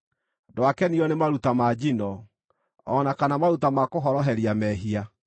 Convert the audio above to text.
ndwakenirio nĩ maruta ma njino, o na kana maruta ma kũhoroheria mehia.